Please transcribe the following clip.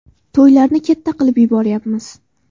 To‘ylarni katta qilib yuboryapmiz.